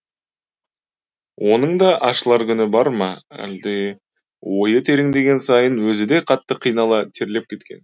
оның да ашылар күні бар ма әлде ойы тереңдеген сайын өзі де қатты қинала терлеп кеткен